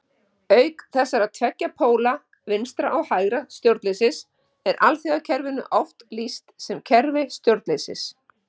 Auk þessara tveggja póla vinstra- og hægra stjórnleysis er alþjóðakerfinu oft lýst sem kerfi stjórnleysis.